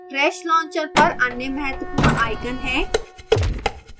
trash launcher पर अन्य महत्वपूर्ण icon है